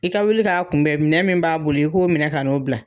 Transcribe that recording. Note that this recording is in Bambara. I ka wuli ka kunbɛn minɛ mUn b'a bolo i k'o minɛ ka n'o bila.